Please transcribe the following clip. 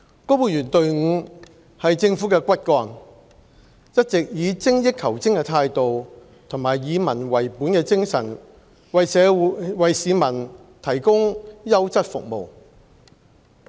公務員隊伍是政府的骨幹，一直以精益求精的態度和以民為本的精神為市民提供優質服務。